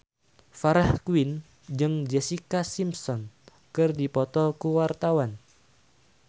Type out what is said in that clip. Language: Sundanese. Farah Quinn jeung Jessica Simpson keur dipoto ku wartawan